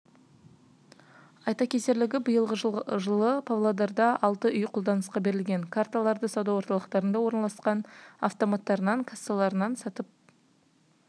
айта кетерлігі биылғы жылы павлодарда алты үй қолданысқа берілген карталарды сауда орталықтарында орналасқан автоматтарынан кассаларынан сатып